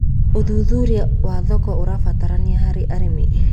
Ũthũthũrĩa wa thoko ũrabataranĩa harĩ arĩmĩ